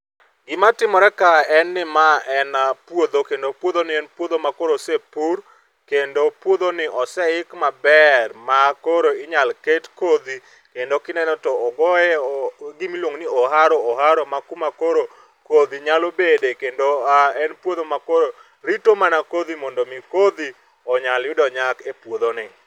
Gima timore ka en ni ma en puodho kendo puodhoni en puodho ma osepur kendo puodhoni oseik maber ma koro inyalo ket kodhi kendo kineno to ogoye gimiluongo ni oharo oharo makuma koro kodhi nyalo bede kendo en puodho makoro rito mana kodhi mondo mi kodhi onyal yudo nyak e puodhoni.